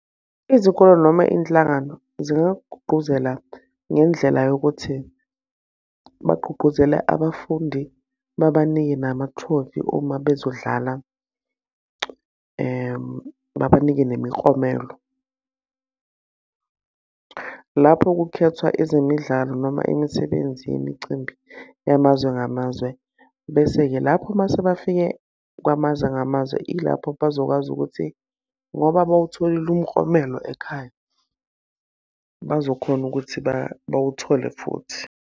Izikolo noma iy'nhlangano zingakugqugquzela ngendlela yokuthi bagqugquzele abafundi, babanike namathrofi uma bezodlala, babanike nemiklomelo. Lapho kukhethwa ezemidlalo noma imisebenzi yemicimbi yamazwe ngamazwe. Bese-ke lapho uma sebafike kwamazwe ngamazwe ilapho bazokwazi ukuthi, ngoba bawutholile umklomelo ekhaya, bazokhona ukuthi bawuthole futhi.